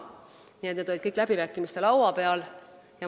Kõik need asjad on olnud läbirääkimiste laua peal.